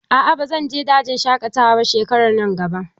A'a ba zan je dajin shaƙatawa shekarar nan ba.